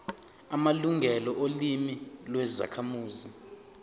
amalungelo olimi lwezakhamuzi